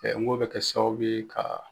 Ɛ n'ko bɛ kɛ sababu ye ka.